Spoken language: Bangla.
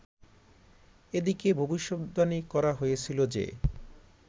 এদিকে ভবিষদ্বাণী করা হয়েছিল যে